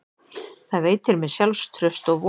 Það veitir mér sjálfstraust og von.